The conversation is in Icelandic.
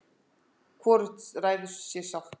hvorugt ræður sér sjálft